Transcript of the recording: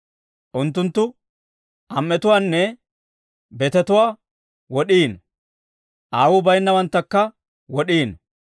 Unttunttu am"etuwaanne betetuwaa wod'iino; aawuu bayinnawanttakka wod'iino.